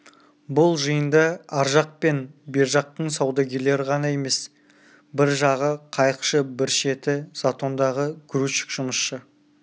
бұл жиында ар жақ пен бер жақтың саудагерлері ғана емес бір жағы қайықшы бір шеті затондағы грузчик жұмысшы